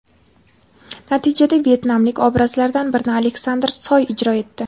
Natijada vyetnamlik obrazlardan birini Aleksandr Soy ijro etdi.